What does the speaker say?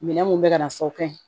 Minɛn mun bɛ ka na fɔ o ka ɲi